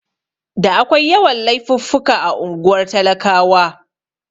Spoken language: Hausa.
Da akwai yawan Laifuffuka a unguwar talakawa